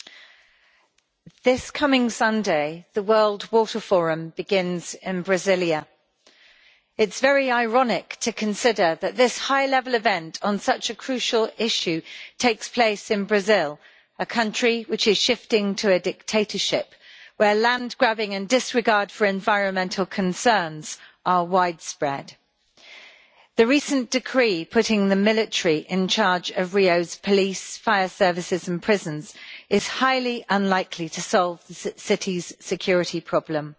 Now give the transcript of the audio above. Madam President, this coming Sunday, the World Water Forum begins in Brasilia. It's very ironic to consider that this high-level event on such a crucial issue takes place in Brazil, a country which is shifting to a dictatorship, where land grabbing and disregard for environmental concerns are widespread. The recent decree putting the military in charge of Rio's police, fire services and prisons is highly unlikely to solve the city's security problem.